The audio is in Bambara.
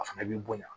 A fana bi bonya